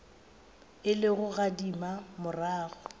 e le go gadima morago